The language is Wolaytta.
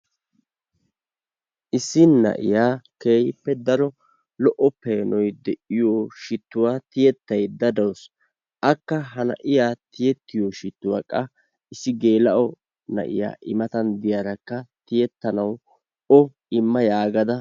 Issi na'iya keehippe daro lo'o peenoy de'iyo shittuwa tiyettayda dawusu. Akka ha na'iya tiyettiyo shittuwa qa geela'o na'iya imatan de'iyarakka o imma yaagada